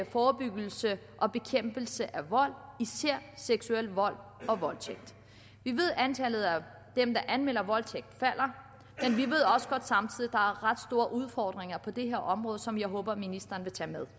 forebyggelse og bekæmpelse af vold især seksuel vold og voldtægt vi ved at antallet af dem der anmelder voldtægt der er ret store udfordringer på det her område som jeg håber at ministeren vil tage med